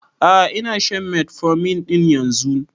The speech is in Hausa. A'a ina shan metformin ɗin yanzun